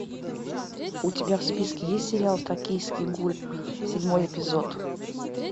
у тебя в списке есть сериал токийский гуль седьмой эпизод